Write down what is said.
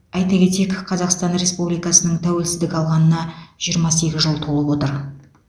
айта кетейік қазақстан республикасының тәуелсіздік алғанына жиырма сегіз жыл толып отыр